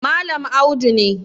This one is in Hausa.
Malam Audu ne